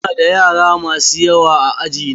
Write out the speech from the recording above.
Ina da yara masu yawa a aji na.